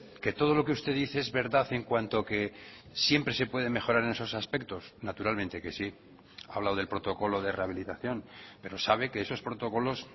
que todo lo que usted dice es verdad en cuanto que siempre se puede mejorar en esos aspectos naturalmente que sí ha hablado del protocolo de rehabilitación pero sabe que esos protocolos